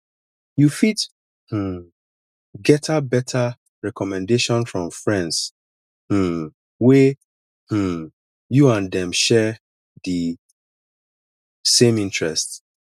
you fit um getter better recommendation from friends um wey um you and dem share di same interest